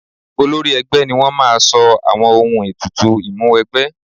Olórí ẹgbẹ́ ni wọ́n máa sọ àwọn ohun ètùtù Ìmúwẹgbẹ́